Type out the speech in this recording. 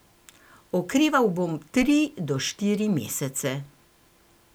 Okreval bom tri do štiri mesece.